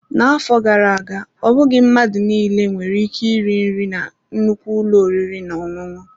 N'afọ gara aga, ọ bụghị mmadụ niile nwere ike iri nri na nnukwu ụlọ oriri na ọṅụṅụ.